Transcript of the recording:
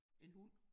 En hund